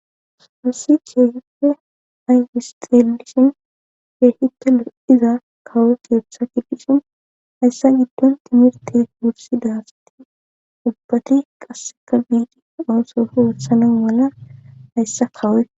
Spassi keeeppe aywisxelishin beehite lo7iza kawo keeththa kipishin hayssa giddon timirti wursi daasti ubbati qasseka biidi onsofu wossanan wala hayssa kawoy